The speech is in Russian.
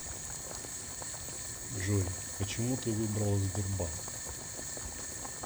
джой почему ты выбрала сбербанк